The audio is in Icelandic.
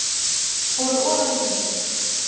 Fóru ofan í gíginn